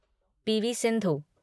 P. V.. Sindhu